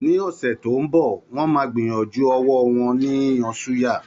Ní ọ̀sẹ̀ tó ń bọ̀, wọ́n máa gbìyànjú ọwọ́ wọn ni yíyan suya